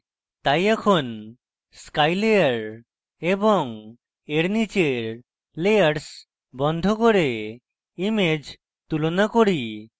তাই এখন sky layer এবং এর নীচের layers বন্ধ করে image তুলনা করি